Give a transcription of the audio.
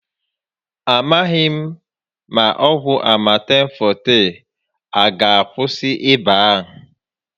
A maghị m ma ọgwụ Amatem Fọọte a aga akwụsị ịba a